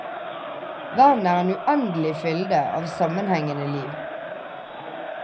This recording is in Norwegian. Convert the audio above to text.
Verden er en uendelig fylde av sammenhengende liv.